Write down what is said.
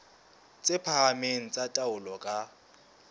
tse phahameng tsa taolo ka